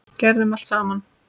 Gerðum allt saman.